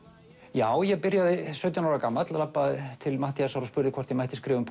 já ég byrjaði sautján ára gamall labbaði til Matthíasar og spurði hvort ég mætti skrifa um